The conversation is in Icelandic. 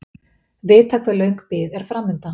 Vita hve löng bið er framundan